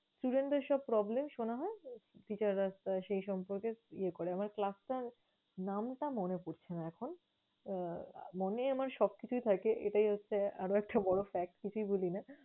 Student দের সব problem শোনা হয়, teacher রা সেই সম্পর্কে ইয়ে করে আমার class টার নামটা মনে পরছে না এখন। মনে আমার সবকিছুই থাকে এটাই হচ্ছে আরেকটা বড়ো fact, কিছুই ভুলি না।